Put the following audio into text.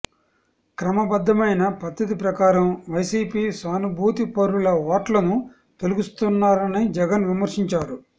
క్రమబద్ధమైన పద్ధతి ప్రకారం వైౖసీపీ సానుభూతిపరుల ఓట్లను తొలగిస్తున్నారని జగన్ విమర్శించారు